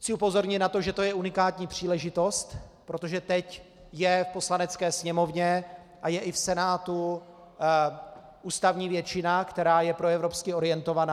Chci upozornit na to, že to je unikátní příležitost, protože teď je v Poslanecké sněmovně a je i v Senátu ústavní většina, která je proevropsky orientovaná.